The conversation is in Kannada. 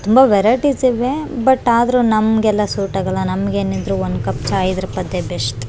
ತುಂಬಾ ವೆರೈಟೀಸ್ ಇವೆ ಬುಟ್ ಆದ್ರೂ ನಮ್ಗೆಲ್ಲ ಸೂಟ್ ಆಗಲ್ಲ ನಮ್ಗೇನಿದ್ರು ಒಂದ್ ಕಪ್ ಚಾಯ್ ಇದ್ರೆ ಅದೇ ಬೆಸ್ಟ್ .